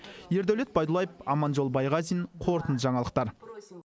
ердәулет байдуллаев аманжол байғазин қорытынды жаңалықтар